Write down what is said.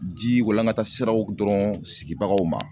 Ji walankata siraw dɔrɔn sigibagaw ma.